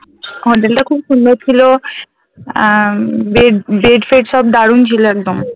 হোটেলটা খুব সুন্দর ছিল । আহ Bed Bed ফেড সব দারুণ ছিল একদম ।